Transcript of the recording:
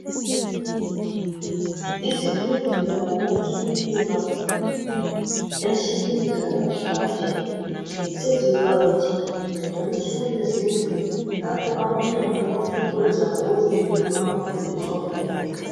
Izibhedlela lamakilinika ensukwini zanamhlanje seziqakathekile njalo sekulezindlu lapho abantwana abafuna ukwenza ngokweze mpilo abafundiswa khona